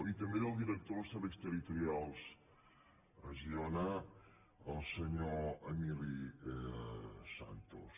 i també del director dels serveis territorials a girona el senyor emili santos